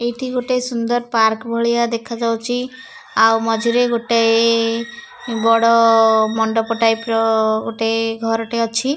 ଏଇଠି ଗୋଟେ ସୁନ୍ଦର୍ ପାର୍କ ଭଳିଆ ଦେଖାଯାଉଚି। ଆଉ ମଝିରେ ଗୋଟାଏ ବଡ଼ ମଣ୍ଡପ ଟାଇପ ର ଗୋଟେ ଘରଟେ ଅଛି।